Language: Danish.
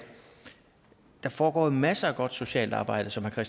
der foregår masser af godt socialt arbejde som herre